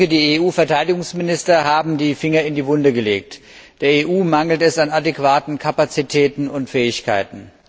Die EU Verteidigungsminister haben den Finger in die Wunde gelegt Der EU mangelt es an adäquaten Kapazitäten und Fähigkeiten.